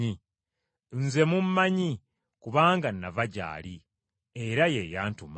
Nze mmumanyi, kubanga nava gy’ali, era ye yantuma.”